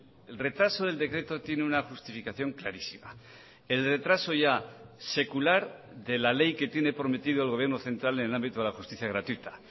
el retraso del decreto tiene una justificación clarísima el retraso ya secular de la ley que tiene prometido el gobierno central en el ámbito de la justicia gratuita